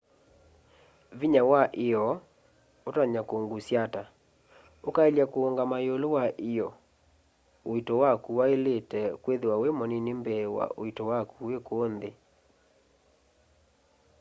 vinya wa io utonya kungusya ata ukaelya kuungama iulu wa io uito waku wailite kwithiwa wi munini mbee wa uito waku wi kuu nthi